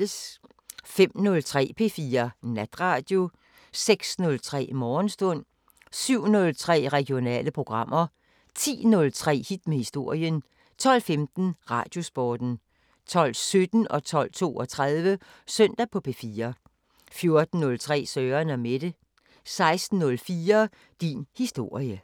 05:03: P4 Natradio 06:03: Morgenstund 07:03: Regionale programmer 10:03: Hit med historien 12:15: Radiosporten 12:17: Søndag på P4 12:32: Søndag på P4 14:03: Søren & Mette 16:04: Din historie